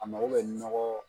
A mago bɛ nɔgɔ